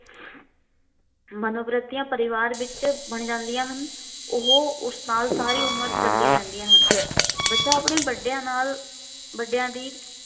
ਮਨੋਵਰਤੀਆ ਪਰਿਵਾਰ ਵਿੱਚ ਬਣ ਜਾਦੀਆਂ ਹਨ। ਉਹ ਉਸ ਨਾਲ ਸਾਰੀ ਉਮਰ ਚੱਲਦੀਆਂ ਰਹਿੰਦੀਆ ਹਨ। ਬੱਚਾ ਆਪਣੇ ਵੱਡਿਆਂ ਨਾਲ ਵੱਡਿਆਂ ਦੀ